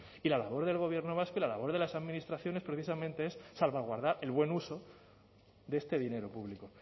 y la labor del gobierno vasco y la labor de las administraciones precisamente es salvaguardar el buen uso de este dinero público